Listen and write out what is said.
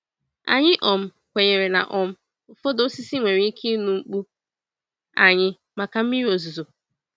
Anyị um kwenyere na um ụfọdụ osisi nwere ike ịnụ mkpu anyị maka mmiri ozuzo.